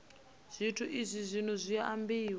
zwithu izwi zwino zwi ambiwa